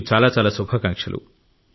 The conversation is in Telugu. మీకు చాలా శుభాకాంక్షలు